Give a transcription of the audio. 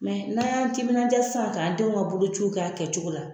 n'a y'an timinaja sisan k'an denw ka bolociw kɛ a kɛcogo la